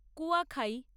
কুয়াখাই